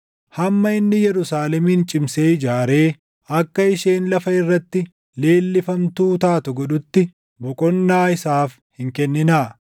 hamma inni Yerusaalemin cimsee ijaaree akka isheen lafa irratti leellifamtuu taatu godhutti // boqonnaa isaaf hin kenninaa.